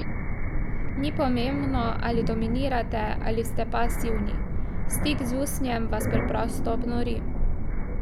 Ni pomembno, ali dominirate ali ste pasivni, stik z usnjem vas preprosto obnori ...